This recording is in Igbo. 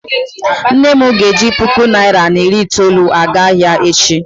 nne m ga-eji puku naira na iri itoolu aga ahia echi